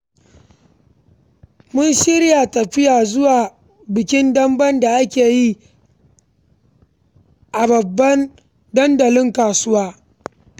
Mun shirya tafiya zuwa bikin Dambe da ake yi a babban dandalin kasuwa.